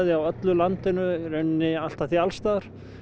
á öllu landinu í rauninni allt að því alls staðar